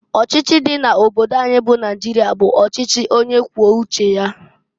Ochichi di n' obodo anyị bụ Naịjịrịa bụ ọchịchị onye kwuo uche ya.